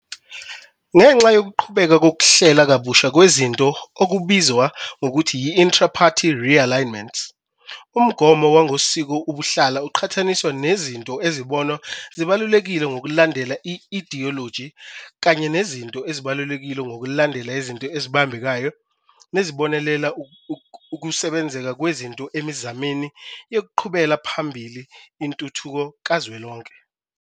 Ngenxa yokuqhubeka yokuqhubeka kokuhlelwa kabusha kwezinto okubizwa ngokuthi yi-intraparty realignments, umgomo wangokosiko ubuhlala uqhathaniswa nezinto ezibonwa zibalulekile ngokulandela i-idiyoloji kanye nezinto ezibalulekile ngokulandela izinto ezibambekayo nezibonelela ukusubenzeka kwezinto emizameni yekuqhubela phambili intuthukko kazwelonke.